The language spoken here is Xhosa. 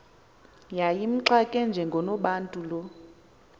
yayimxake njengonobantu lo